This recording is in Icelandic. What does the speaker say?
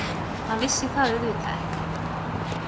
Hann vissi það auðvitað ekki.